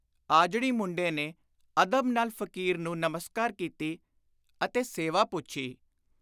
ਆਜੜੀ ਮੁੰਡੇ ਨੇ ਅਦਬ ਨਾਲ ਫ਼ਕੀਰ ਨੂੰ ਨਮਸਕਾਰ ਕੀਤੀ ਅਤੇ ਸੇਵਾ ਪੁੱਛੀ।